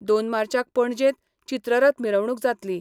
दोन मार्चाक पणजेंत, चित्ररथ मिरवणूक जातली.